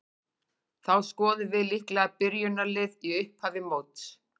Þá skoðum við líklegt byrjunarlið í upphafi móts.